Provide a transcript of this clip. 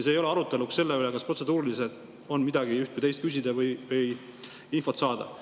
See ei ole mõeldud aruteluks selle üle, kas protseduuriliselt on üht või teist küsida, või tahetakse infot saada.